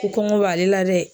Ko kɔngɔ b'ale la dɛ.